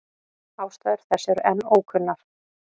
Ástæður þess eru enn ókunnar.